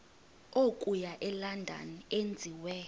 okuya elondon enziwe